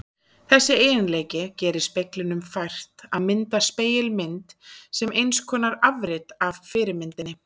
Þessi eiginleiki gerir speglinum fært að mynda spegilmynd sem eins konar afrit af fyrirmyndinni.